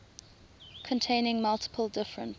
containing multiple different